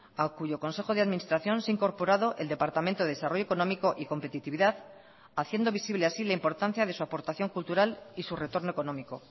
a cuyo consejo de administración se ha incorporado el departamento de desarrollo económico y competitividad haciendo visible así la importancia de su aportación cultural y su retorno económico